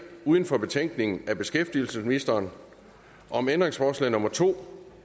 uden for betænkningen af beskæftigelsesministeren om ændringsforslag nummer to